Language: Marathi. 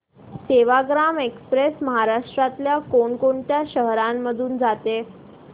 सेवाग्राम एक्स्प्रेस महाराष्ट्रातल्या कोण कोणत्या शहरांमधून जाते